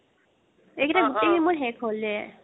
এইকেইটা গুতেইখিনি মোৰ শেষ হ'লেই